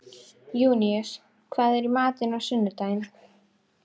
Júníus, hvað er í matinn á sunnudaginn?